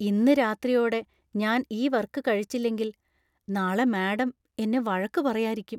ഇന്ന് രാത്രിയോടെ ഞാൻ ഈ വർക് കഴിച്ചില്ലെങ്കിൽ നാളെ മാഡം എന്നെ വഴക്കു പറയാരിക്കും.